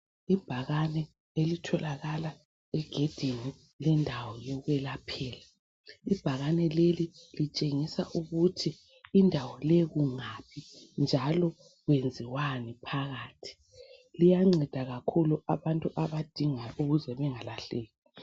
ibhakane elitholakala egedini lendawo yokuyelaphela ibhakane leli litshengisa ukuthi indawo leyi kungaphi njalo kwenziwani phakathi liyanceda kakhulu abantu abadingayo ukuze bengalahleki